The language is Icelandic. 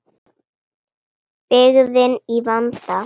Byggðin í vanda.